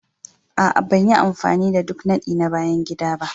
Aa, ban yi amfani da duk nadi na bayan gida ba.